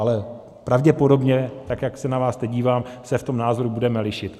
Ale pravděpodobně, tak jak se na vás teď dívám, se v tom názoru budeme lišit.